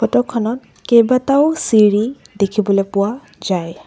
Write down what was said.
Photo খনত কেইবাটাও চিৰি দেখিবলৈ পোৱা যায়।